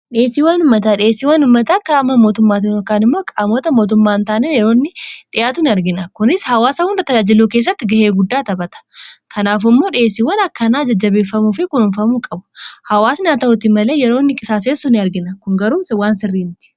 dheessii waanummataa dheessii waanummataa kun dabaluu gahee guddaa taphata sababiin isaas dheessii waanummataa kun yeroo baay'ee kan dhiheffatu wantoota hanqinna mudatan irratti waanteef kanaaf immoo haawaasni wantoota sanoo argate jabaat akka hojjetu fi akka jijjiiramu godhuu kessatti gahee guddaa qaba